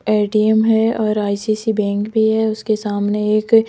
ATM है और ICICI bank भी है उसके सामने एक--